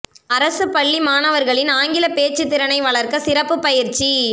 அரசு பள்ளி மாணவர்களின் ஆங்கில பேச்சுத் திறனை வளர்க்க சிறப்பு பயிற்சி